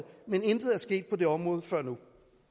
men intet er sket på det område før nu